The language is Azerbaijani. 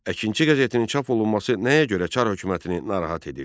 Əkinçi qəzetinin çap olunması nəyə görə Çar hökumətini narahat edirdi?